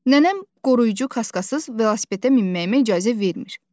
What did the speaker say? Nənəm qoruyucu kaskasız velosipedə minməyimə icazə vermir.